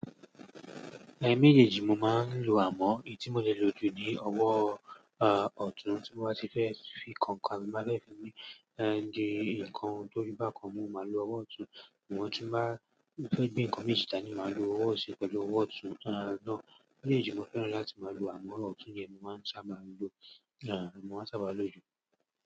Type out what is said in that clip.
Ẹ̀ méjèèjì mo máa ń lo àmọ́. Èyí tí mo lè lò jù ni ọwọ́, à, ọ̀tún tí mo bá ti fẹ́ fi kọ ńká, mo máa fẹ́ fi, ẹ́n, di ǹkan tó fí bá kan mú, màá lo ọwọ́ ọ̀tún. Sugbon ti n bá, fẹ́ gbé ǹkan méjì da ni màá lo ọwọ́ osi pẹ̀lú ọwọ́ ọ̀tún. Ẹ́ méjèèjì mo fẹ́ràn láti máa lo àmọ́, ọwọ́ ọ̀tún ni ẹmi máa ń sábà lo, à, mo máa ń sábà lò jù.